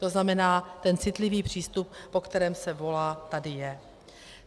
To znamená, ten citlivý přístup, po kterém se volá, tady je.